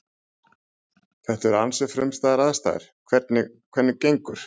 Þetta eru ansi frumstæðar aðstæður, hvernig, hvernig, gengur?